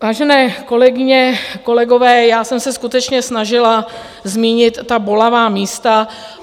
Vážené kolegyně, kolegové, já jsem se skutečně snažila zmínit ta bolavá místa.